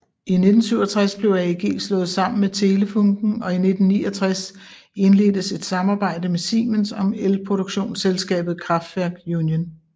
I 1967 blev AEG slået sammen med Telefunken og i 1969 indledtes et samarbejde med Siemens om elproduktionsselskabet Kraftwerk Union